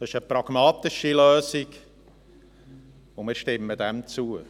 Es ist eine pragmatische Lösung, und wir stimmen dieser zu.